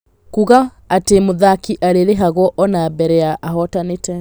Kuuga atĩ mũthaki arĩrĩhagio ona mbere ya ahotanĩte.